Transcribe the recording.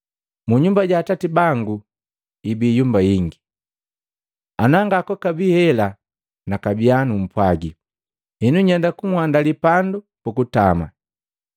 Munyumba ja Atati bangu ibi yumba ingi, ana ngakwakabi hela nakabiya numpwagi. Henu nyenda kunhandali pandu pukutama.